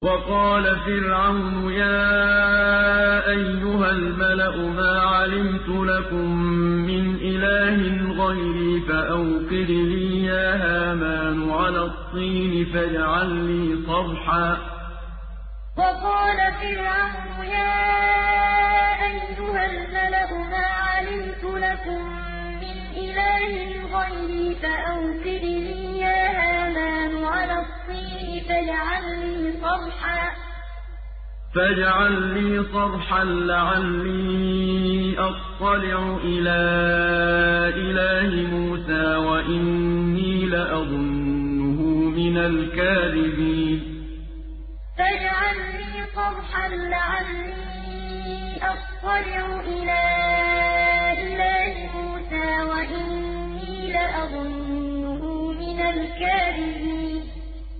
وَقَالَ فِرْعَوْنُ يَا أَيُّهَا الْمَلَأُ مَا عَلِمْتُ لَكُم مِّنْ إِلَٰهٍ غَيْرِي فَأَوْقِدْ لِي يَا هَامَانُ عَلَى الطِّينِ فَاجْعَل لِّي صَرْحًا لَّعَلِّي أَطَّلِعُ إِلَىٰ إِلَٰهِ مُوسَىٰ وَإِنِّي لَأَظُنُّهُ مِنَ الْكَاذِبِينَ وَقَالَ فِرْعَوْنُ يَا أَيُّهَا الْمَلَأُ مَا عَلِمْتُ لَكُم مِّنْ إِلَٰهٍ غَيْرِي فَأَوْقِدْ لِي يَا هَامَانُ عَلَى الطِّينِ فَاجْعَل لِّي صَرْحًا لَّعَلِّي أَطَّلِعُ إِلَىٰ إِلَٰهِ مُوسَىٰ وَإِنِّي لَأَظُنُّهُ مِنَ الْكَاذِبِينَ